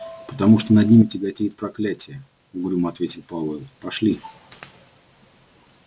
потому что над ними тяготеет проклятие угрюмо ответил пауэлл пошли